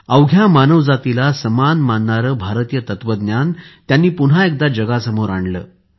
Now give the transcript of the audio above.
अवघ्या मानवजातीला समान मानणारे भारतीय तत्वज्ञान त्यांनी पुन्हा एकदा जगासमोर आणले